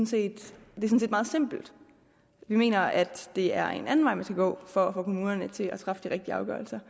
set meget simpelt vi mener at det er en anden vej man skal gå for at få kommunerne til at træffe de rigtige afgørelser